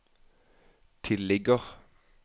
tilligger